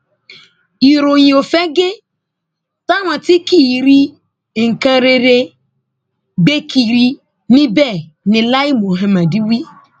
ìròyìn òfegè táwọn tí kì í rí nǹkan rere ń gbé kiri ní bẹẹ ni lai muhammed wí